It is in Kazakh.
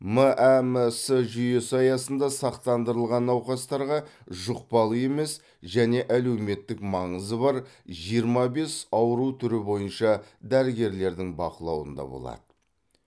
мәмс жүйесі аясында сақтандырылған науқастарға жұқпалы емес және әлеуметтік маңызы бар жиырма бес ауру түрі бойынша дәрігерлердің бақылауында болады